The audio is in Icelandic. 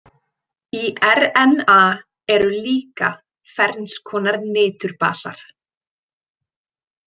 Í RNA eru líka ferns konar niturbasar.